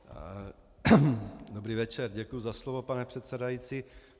Dobrý večer, děkuji za slovo, pane předsedající.